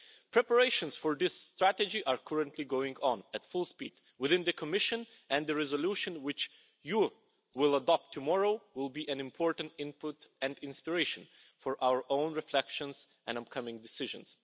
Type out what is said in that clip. Preparations for this strategy are currently going on at full speed within the Commission, and the resolution which you will adopt tomorrow will be an important input and inspiration for our own reflections and upcoming decisions.